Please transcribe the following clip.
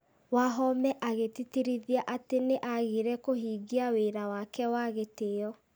Wahome agĩtĩtĩrithia atĩ nĩ agire kũhingia wĩra wake wa gĩtĩo